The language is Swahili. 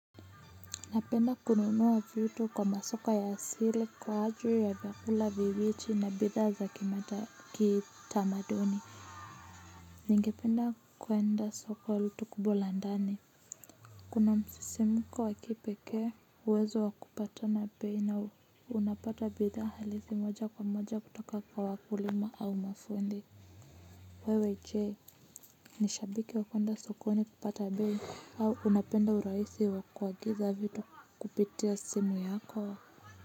Napenda kununua vitu kwa masoko ya asili kwa ajili ya vyakula viwichi na bidhaa za kitamaduni. Ningependa kwenda soko ulutu kubwa la ndani. Kuna msisimuko wakipekee uwezo wakupata na bei na unapata bidhaa halisi moja kwa moja kutoka kwa wakulima au mafundi wewe jee ni shabiki wakwenda sokoni kupata bei au unapenda uraisi wa kuagiza vitu kupitia simu yako.